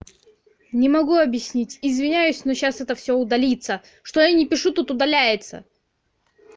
не могу объяснить извиняюсь но сейчас это всё удалится что я не пишу тут удаляется